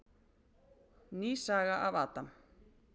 Ný saga af Adam.